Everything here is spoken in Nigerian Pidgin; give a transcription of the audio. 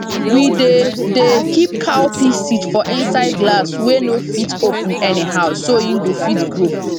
we dey dey keep cowpea seed for inside glass wey no fit open anyhow so e go fit grow